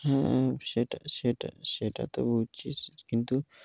হ্যাঁ সেটা সেটা, সেটাতে বুঝছিস কিন্তু